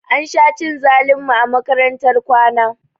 Ansha cin zalin mu a makarantar kwana